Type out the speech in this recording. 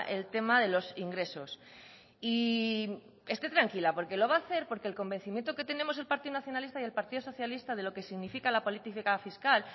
el tema de los ingresos y esté tranquila porque lo va a hacer porque el convencimiento que tenemos el partido nacionalista y el partido socialista de lo que significa la política fiscal